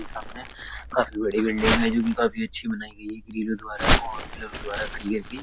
की सामने काफी बड़ी बिल्डिंग है जोकि काफी अच्छी बनाई गयी है द्वारा और पिलर द्वारा खड़ी करके।